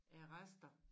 Af rester